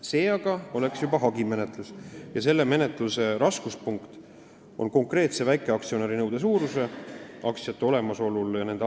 See aga oleks juba hagimenetlus ja selle menetluse raskuspunkt on konkreetse väikeaktsionäri nõude suuruse kindlaksmääramine.